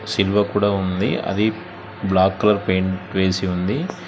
సిలువ కూడా ఉంది అది బ్లాక్ కలర్ పెయింట్ వేసి ఉంది.